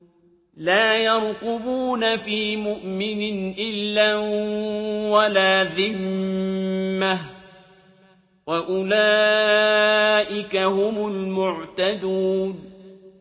لَا يَرْقُبُونَ فِي مُؤْمِنٍ إِلًّا وَلَا ذِمَّةً ۚ وَأُولَٰئِكَ هُمُ الْمُعْتَدُونَ